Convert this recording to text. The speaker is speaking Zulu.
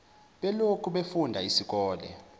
beloku befunda isikole